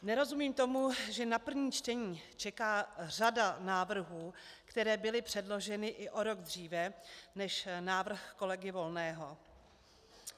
Nerozumím tomu, že na první čtení čeká řada návrhů, které byly předloženy i o rok dříve než návrh kolegy Volného.